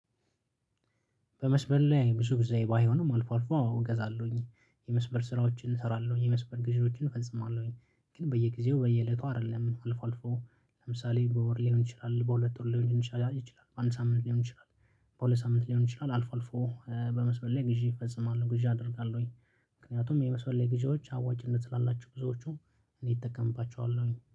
በመስበር ላይ ብዙ ጊዜ ባይሆንም አልፎ አልፎ እገዛለሁኝ የመስበር ስራዎችን እሰራለሁኝ የመስበር ግዢኖችን እፈጽማለሁኝ። ግን በየጊዜው በየእለቱ አይደለም አልፎ አልፎ ለምሳሌ በወር ሊሆን ይችላል በሁለት ወር ሊሆን ይችላል በአንድ ሳምንት ሊሆን ይችላል። በሁለት ሳምንት ሊሆን ይችላል አልፎ አልፎ በመስመር ላይ ግዢ እፈጽማለሁ ግዢ አደርጋለሁ አደርጋለሁኝ። ምክንያቱም የመስመር ላይ ግዢዎች አዋጭነት ስላላቸው ብዙዎቹ እኔ እጠቀምባቸዋለሁኝ